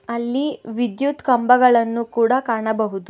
ಅಲ್ಲಿ ವಿದ್ಯುತ್ ಕಂಬಗಳನ್ನು ಕೂಡ ಕಾಣಬಹುದು.